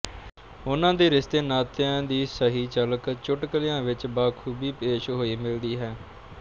ਉਨ੍ਹਾਂ ਦੇ ਰਿਸ਼ਤੇਨਾਤਿਆਂ ਦੀ ਸਹੀ ਝਲਕ ਚੁਟਕਲਿਆਂ ਵਿੱਚ ਬਾਖੂਬੀ ਪੇਸ਼ ਹੋਈ ਮਿਲਦੀ ਹੈ